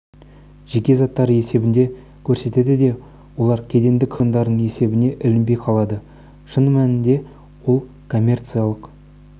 жеке заттары есебінде көрсетеді де олар кедендік органдардың есебіне ілінбей қалады шын мәнінде ол коммерциялық